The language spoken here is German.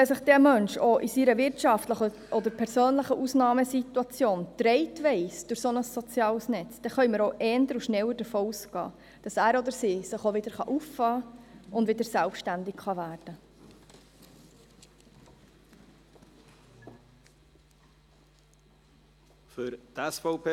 Wenn sich ein Mensch auch in seiner wirtschaftlichen oder persönlichen Ausnahmesituation durch ein solches soziales Netz getragen weiss, können wir auch eher und schneller davon ausgehen, dass er oder sie sich auch wieder auffangen und wieder selbstständig werden kann.